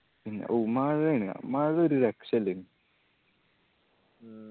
മ്മ് ഊ മഴയാണ് മഴ ഒരു രക്ഷ ഇല്ലായിനു